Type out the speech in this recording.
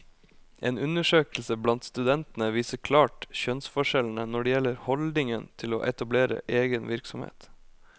En undersøkelse blant studentene viser klart kjønnsforskjellene når det gjelder holdningen til å etablere egen virksomhet.